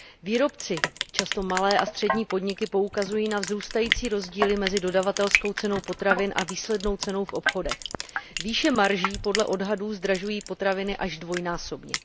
Výrobci, často malé a střední podniky, poukazují na vzrůstající rozdíly mezi dodavatelskou cenou potravin a výslednou cenou v obchodech. Výše marží podle odhadů zdražují potraviny až dvojnásobně.